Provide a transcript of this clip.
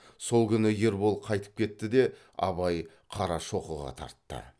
сол күні ербол қайтып кетті де абай қарашоқыға тартты